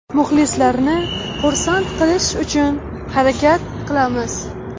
Muxlislarni xursand qilish uchun harakat qilamiz.